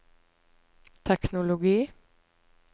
teknologi